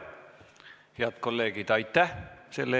Head kolleegid, tänane istung on lõppenud.